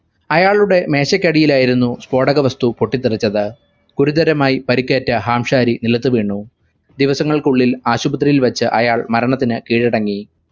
അയാളുടെ മേശക്കടിയിലായിരുന്നു സ്‌ഫോടക വസ്തു പൊട്ടിത്തെറിച്ചത് ഗുരുതരമായി പരിക്കേറ്റ ഹാംശാരി നിലത്തു വീണു. ദിവസങ്ങൾക്കുള്ളിൽ ആശുപത്രിയിൽ വെച്ച് അയാൾ മരണത്തിനു കീഴടങ്ങി.